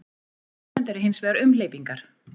Á Íslandi eru hins vegar umhleypingar.